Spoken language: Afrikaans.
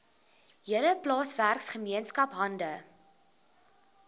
hele plaaswerkergemeenskap hande